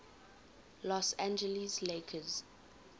los angeles lakers